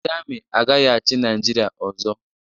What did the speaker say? Ndi Amị agaghị-achi naijiria ọzo.